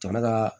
Jama ka